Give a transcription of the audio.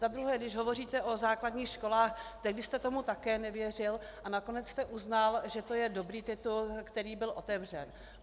Za druhé, když hovoříte o základních školách, tehdy jste tomu také nevěřil a nakonec jste uznal, že to je dobrý titul, který byl otevřen.